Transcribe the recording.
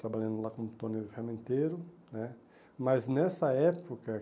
Trabalhando lá como torneio ferramenteiro né, mas nessa época